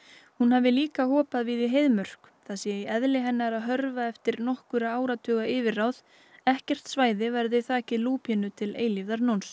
hún hafi líka hopað víða í Heiðmörk það sé í eðli hennar að hörfa eftir nokkurra áratuga yfirráð ekkert svæði verði þakið lúpínu til eilífðarnóns